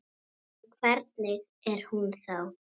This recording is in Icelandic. En hvernig er hún þá?